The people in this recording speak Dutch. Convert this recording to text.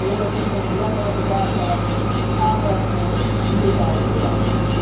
Ik denk dat één van de belangrijke zaken daarbij is aandacht voor buurtaalonderwijs.